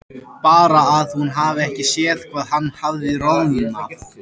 Bara að hún hafi ekki séð hvað hann hafði roðnað.